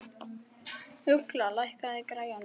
Ugla, lækkaðu í græjunum.